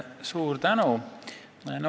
Suur tänu!